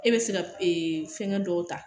E bɛ se ka ee fɛngɛ dɔw ta